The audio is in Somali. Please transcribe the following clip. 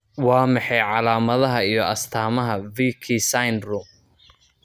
Waa maxay calaamadaha iyo astaamaha Vici syndrome?